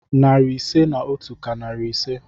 Narị ise na otu ka narị ise.